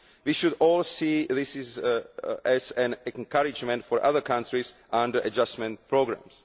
We should all see this as an encouragement for other countries under adjustment programmes.